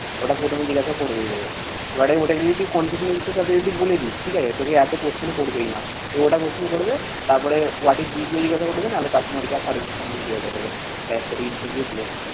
ওটা প্রথমে জিজ্ঞাসা করবেই এভাবে। এবারে ওদের যদি confidence এর সাথে যদি বলে দিস, ঠিক আছে। তোকে এতো question করবেই না। দু একটা প্রশ্ন করবে। তারপরে what is জিজ্ঞাসা করবে না হলে customer care service সম্বন্ধে জিজ্ঞাসা করবে। ব্যাস, তোর interview close